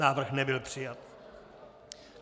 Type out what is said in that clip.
Návrh nebyl přijat.